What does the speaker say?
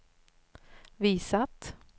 visat